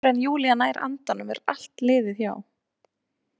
Og áður en Júlía nær andanum er allt liðið hjá.